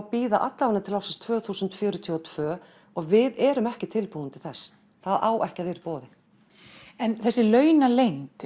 bíða til tvö þúsund fjörutíu og tvö og við erum ekki tilbúin til þess það á ekki að vera í boði þessi launaleynd